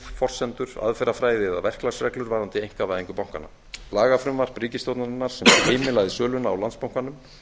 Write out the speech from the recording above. forsendur aðferðafræði eða verklagsreglur varðandi einkavæðingu bankanna lagafrumvarp ríkisstjórnarinnar sem heimilaði söluna á landsbankanum